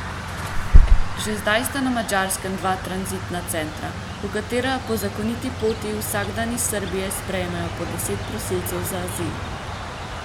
Že zdaj sta na Madžarskem dva tranzitna centra, v katera po zakoniti poti vsak dan iz Srbije sprejmejo po deset prosilcev za azil.